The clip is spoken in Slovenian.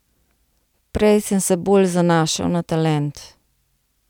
Prej sem se bolj zanašal na talent.